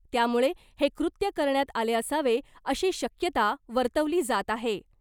त्यामुळे हे कृत्य करण्यात आले असावे अशी शक्यता वर्तवली जात आहे .